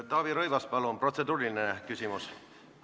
Taavi Rõivas, palun, protseduuriline küsimus!